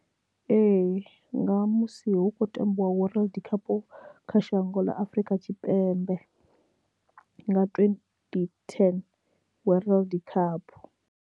Ee nga musi hu khou tambiwa world cup kha shango ḽa Afurika Tshipembe nga twenty ten World Cup.